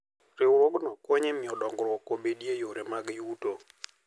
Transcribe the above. Riwruogno konyo e miyo dongruok obedie e yore mag yuto.